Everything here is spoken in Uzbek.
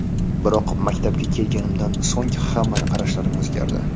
Biroq mamlakatga kelganimdan so‘ng hamma qarashlarim o‘zgardi.